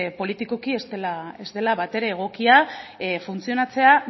politikoki ez dela batere egokia funtzionatzea